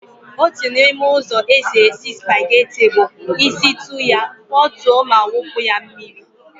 Otu n'ime ụzọ esi esi spageti bụ ịsịtụ ya, fotuo ma wụpụ ya mmiri.